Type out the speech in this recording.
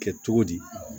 Kɛ cogo di